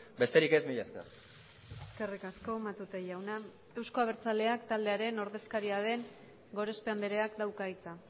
besterik ez mila esker eskerrik asko matute jauna euzko abertzaleak taldearen ordezkaria den gorospe andreak dauka hitza